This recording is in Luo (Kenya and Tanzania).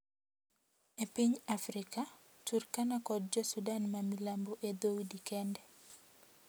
Epiny Afrika, Turkana kod jo Sudan mamilambo e dhoudi kende,